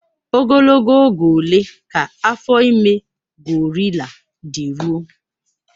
Ogologo oge ole ka afọ ime gorila dị ruo?